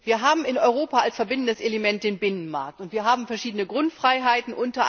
Wir haben in Europa als verbindendes Element den Binnenmarkt und wir haben verschiedene Grundfreiheiten.